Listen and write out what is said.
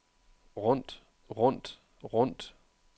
rundt rundt rundt